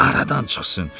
Aradan çıxsın.